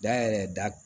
Ja yɛrɛ da